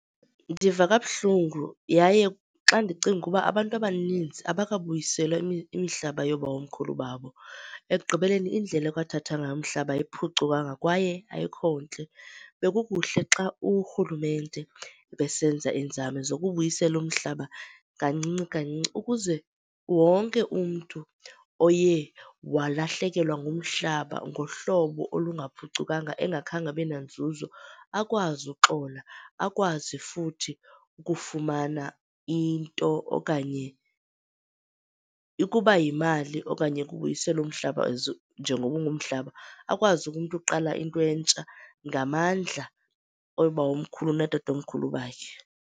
Ndiva kabuhlungu yaye xa ndicinga uba abantu abaninzi abakabuyiselwa imihlaba yoobawomkhulu babo. Ekugqibeleni indlela ekwathathwa ngayo umhlaba ayiphucukanga kwaye ayikho ntle. Bekukuhle xa urhulumente ebesenza iinzame zokubuyisela umhlaba kancinci kancinci ukuze wonke umntu oye walahlekelwa ngumhlaba ngohlobo olungaphucukanga engakhange abenanzuzo, akwazi uxola akwazi futhi ukufumana into okanye, ukuba yimali okanye kubuyiselwa umhlaba njengokuba ingumhlaba, akwazi kumntu uqala into entsha ngamandla oobawomkhulu nootatomkhulu bakhe.